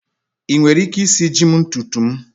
Ị nwere ike isiji m ntutu m?